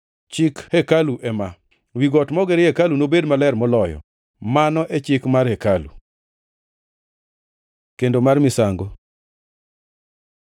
“Chik hekalu ema: Wi got mogerie hekaluni nobed maler moloyo. Mano e chik mar hekalu. Kendo mar misango